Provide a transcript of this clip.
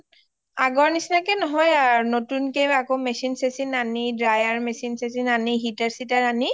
আগৰ নিচিনা কে নহয় আৰু নতুন কে আকৌ machine শচীন আনি dryer machine শচীন আনি heater seater আনি